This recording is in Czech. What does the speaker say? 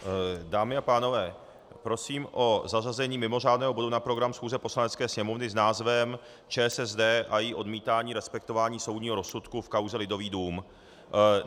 Dámy a pánové, prosím o zařazení mimořádného bodu na program schůze Poslanecké sněmovny s názvem ČSSD a její odmítání respektování soudního rozsudku v kauze Lidový dům.